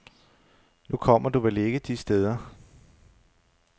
Nu kommer du vel ikke de steder.